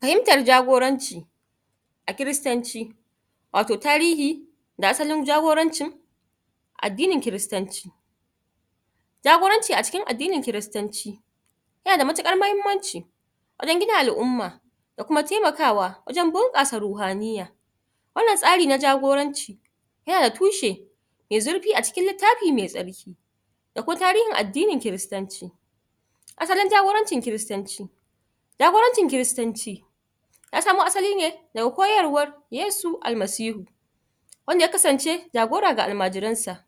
fahimtar jagoranci a kiristanci wato tarihi da asalin jagorancin addinin kiristanci jagoranci a cikin addinin kiristanci yana da matukar muhimmanci wajen gina alumma da kuma temaka wa wajen bunkasa ruhaniya wannan tsari na jagoranci yana da tushe mai zurfi acikin littafi mai tsarki da kwai tarihin addinin kiristanci asalin jagorancin kiristanci jagorancin kiristanchi ya samo asali ne daga koyarwan yesu almasihu wanda ya kasance jagora ga almajiransa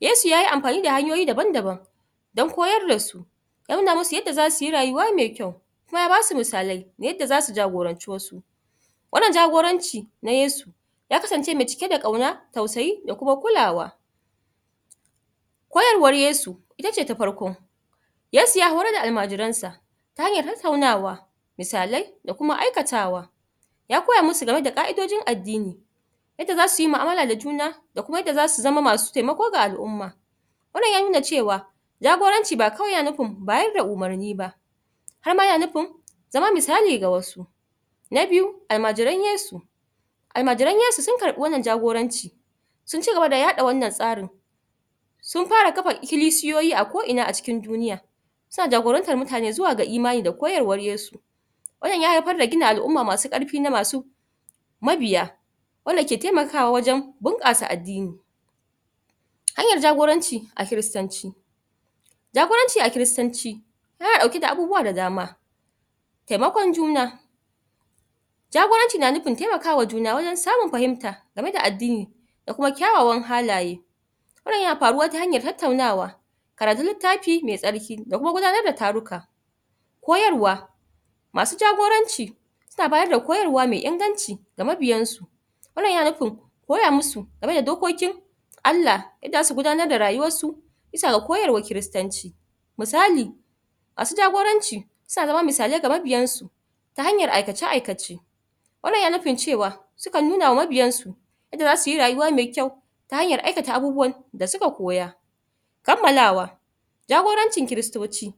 yesu yayi amfani da hanyoyi daban daban dan koyar dasu ya nuna musu yanda zasuyi rayuwa mai kyau kuma ya basu misalai yanda zasu jagoranci wasu wannan jagoranci na yesu ya kansance mai cike da kauna tausayi da kuma kulawa kayarwar yesu itace ta farko yesu ya horar da almajiransa ta hanyar tattaunawa misalai da kuma aikatawa ya koya musu game da ƙaidojin addini yadda zasu yi mu'amala da juna da kuma yadda zasu zama masu temako ga al'umma wannan ya nuna cewa jagoranci yana nufin ba kawai bada umarni ba harma na nufin zama misali ga wasu na biyu almajiran yesu almajiran yesu sun karbi wannan jagorancin sunci gaba da yaɗa wannan tsarin sun fara kafa ikilisiyoyi a ko ina acikin duniya suna jagorantar mutane zuwa yin imani da koyarwar yesu wannan ya haifar da gina al'umma masu karfi mabiya wanda ke temakawa wajen bunkasa addini hanyar jagoranchi a kiristanci jagoranci a kiristanci yana dauke da abubuwa da dama temakon juna jagoranci na nufin temakawa juna wajen samun fahimta game da addini da kuma kyawawan halaye wannan yana faruwa ta hanyar tattaunawa karatun littafi mai tsarki da kuma gudanar da taruka koyarwa masu jagoranci suna bayar koyarwa me inganci da mabiyan su wannan yana nufin koya musu game da dokokin allah inda zasu gudananr da rayuwansu bisa ga koyar wan kiristanci misali masu jagoranci suna zama misalai ga mabiyan su ta hanyar aikace aikace wannan yana nufin cewa sukan nunawa mabiyansu yanda zasuyi rayuwa mai kyau ta hanyar aikata abubuwan da suka koya kammalawa jagorancin kiristoci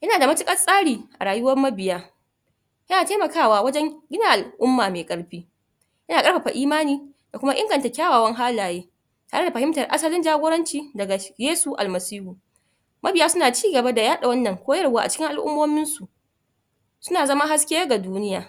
yana da matukar tsari a rayuwar mabiya yana temaka wa wajen gina al'umma mai karfi yana karfafa imani da kuma inganta kywawan halaye kara fahimtar asalin jagoranci daga yesu almasihu mabiya suna cigaba da yaɗa wannan koyar wa acikin alumominsu suna zama haske ga duniya